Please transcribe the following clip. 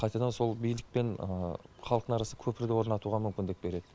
қайтадан сол билік пен халықтың арасында көпірді орнатуға мүмкіндік береді